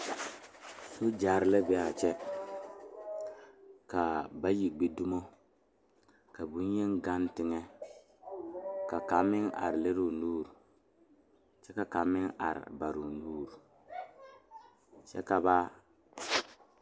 Soogyere la be a kyɛ ka bayi gbi dumo ka bonyeni gaŋ teŋɛ ka kaŋ meŋ are lere o nuuri kyɛ ka kaŋ meŋ are bare o nuuri kyɛ ka ba.